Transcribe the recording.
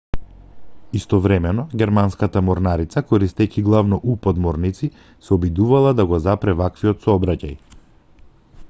истовремено германската морнарица користејќи главно у-подморници се обидувала да го запре ваквиот сообраќај